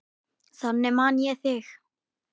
Þannig man ég þig.